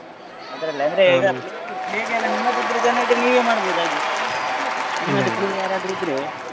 ಅದ್ರಲ್ಲೇ ಅಂದ್ರೆ play ಗೆ play ಗೆಲ್ಲ ನಿಮ್ಮದಿದ್ರೆ ಜನ ಇದ್ರೆ ನೀವೇ ಮಾಡ್ಬೋದು ಹಾಗೆ ಇದ್ರೆ.